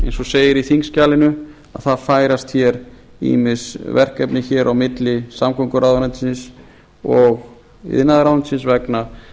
eins og segir í þingskjalinu að það færast ýmis verkefni á milli samgönguráðuneytisins og iðnaðarráðuneytisins